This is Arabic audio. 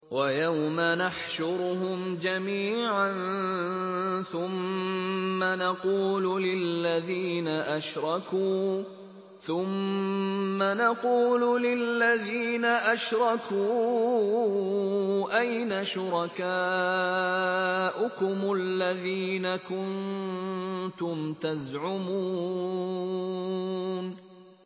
وَيَوْمَ نَحْشُرُهُمْ جَمِيعًا ثُمَّ نَقُولُ لِلَّذِينَ أَشْرَكُوا أَيْنَ شُرَكَاؤُكُمُ الَّذِينَ كُنتُمْ تَزْعُمُونَ